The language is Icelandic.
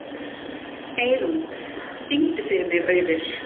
Eirún, syngdu fyrir mig „Auður“.